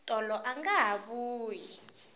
tolo anga ha vuyi